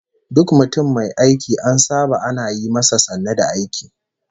Duk mutum mai aiki an saba ana yi masa sannu da aiki